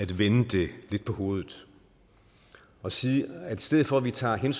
vende det lidt på hovedet og sige at i stedet for at vi tager